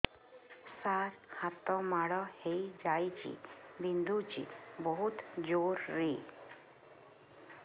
ସାର ହାତ ମାଡ଼ ହେଇଯାଇଛି ବିନ୍ଧୁଛି ବହୁତ ଜୋରରେ